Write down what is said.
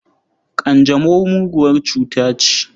Ƙanjamau muguwar cuta ce.